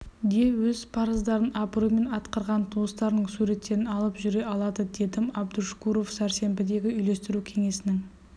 де өз парыздарын абыроймен атқарған туыстарының суреттерін алып жүре алады дедім абдушкуров сәрсенбідегі үйлестіру кеңесінің